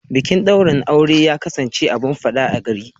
Bikin daurin aure ya kasance abun fada a gari.